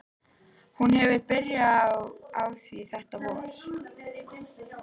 Hún hefur byrjað á því þetta vor.